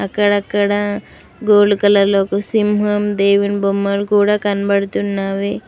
అక్కడక్కడ gold colour లో సింహం దేవుని బొమ్మలు కూడా కనబడుతున్నావి.